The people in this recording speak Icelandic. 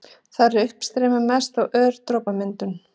Þar er uppstreymi mest og ör dropamyndun.